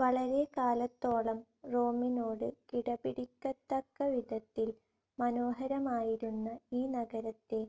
വളരെക്കാലത്തോളം റോമിനോട് കിടപിടിക്കത്തക്കവിധത്തിൽ മനോഹരമായിരുന്ന ഈ നഗരത്തെ